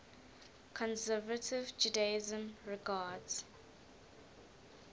conservative judaism regards